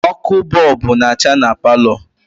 Ọkụ bọọbụ na-acha na palọ